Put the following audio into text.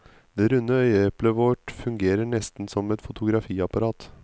Det runde øyeeplet vårt fungerer nesten som et fotografiapparat.